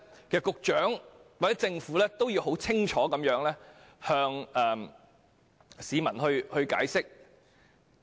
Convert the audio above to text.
局長或政府其實要向市民解釋清楚。